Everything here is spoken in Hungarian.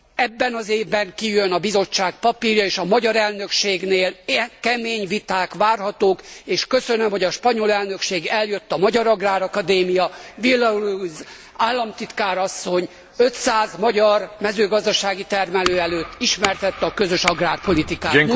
Ebben az évben kijön a Bizottság papírja, és a magyar elnökségnél kemény viták várhatók, és köszönöm, hogy a spanyol elnökség eljött a magyar agrárakadémiára Villaruiz államtitkár asszony 500 magyar mezőgazdasági termelő előtt ismertette a közös agrárpolitikát.